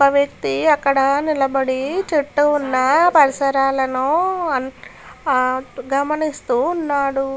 ఒక వ్యక్తి అక్కడ నిలబడ్డ చుట్టు ఉన్న పరిసరలను ఆ గమనిస్తూ ఉన్నాడు.